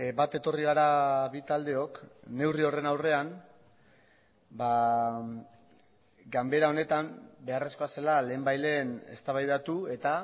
bat etorri gara bi taldeok neurri horren aurrean ganbera honetan beharrezkoa zela lehenbailehen eztabaidatu eta